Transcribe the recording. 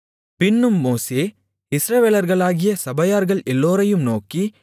பின்னும் மோசே இஸ்ரவேலர்களாகிய சபையார்கள் எல்லோரையும் நோக்கி